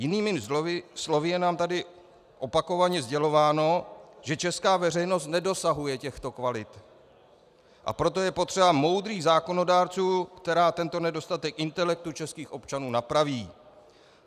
Jinými slovy, je nám tady opakovaně sdělováno, že česká veřejnost nedosahuje těchto kvalit, a proto je potřeba modrých zákonodárců, kteří tento nedostatek intelektu českých občanů napraví.